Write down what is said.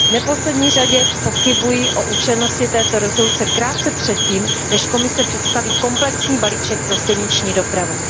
V neposlední řadě pochybuji o účelnosti této rezoluce krátce před tím, než Komise představí komplexní balíček pro silniční dopravu.